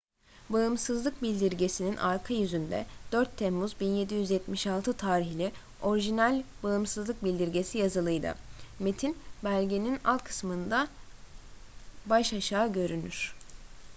bağımsızlık bildirgesi'nin arka yüzünde 4 temmuz 1776 tarihli orijinal bağımsızlık bildirgesi yazılıydı metin belgenin alt kısmında baş aşağı görünür